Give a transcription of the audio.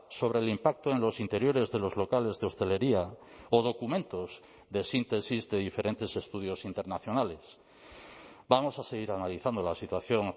sobre el impacto en los interiores de los locales de hostelería o documentos de síntesis de diferentes estudios internacionales vamos a seguir analizando la situación